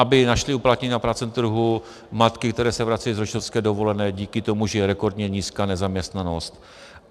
Aby našly uplatnění na pracovním trhu matky, které se vracejí z rodičovské dovolené, díky tomu, že je rekordně nízká nezaměstnanost.